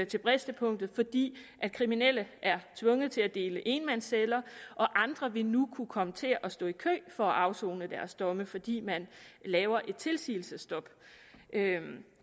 til bristepunktet fordi kriminelle er tvunget til at dele enmandsceller og andre vil nu kunne komme til at stå i kø for at afsone deres domme fordi man laver et tilsigelsesstop